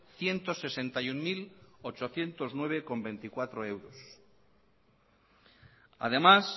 ciento sesenta y uno mil ochocientos nueve coma veinticuatro euros además